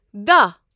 دہ